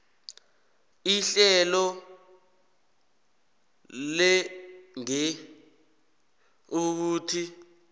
ihlelo legear ukuthi